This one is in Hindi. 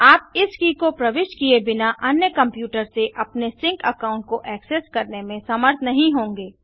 आप इस की को प्रविष्ट किए बिना अन्य कंप्यूटर से अपने सिंक अकाउंट को ऐक्सेस करने में समर्थ नहीं होंगे